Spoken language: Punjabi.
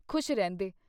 ਖੁਸ਼ ਰਹਿੰਦੇ।